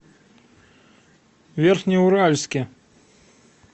верхнеуральске